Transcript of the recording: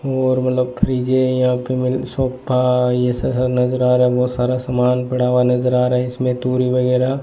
और मतलब फ्रिज है यहां पे सोफा ये सब सारा नजर आ रहा है बहोत सारा सामान पड़ा हुआ नजर आ रहा है इसमें टूल वगैरा--